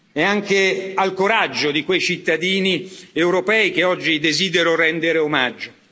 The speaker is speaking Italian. È anche al coraggio di quei cittadini europei che oggi desidero rendere omaggio.